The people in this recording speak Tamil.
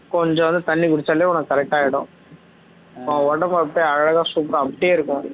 கொஞ்சம் வந்து தண்ணீ குடிச்சாலே உனக்கு correct ஆகிடும் சும்மா உடம்பு அப்படியே அழகா super ஆ அப்படியே இருக்கும்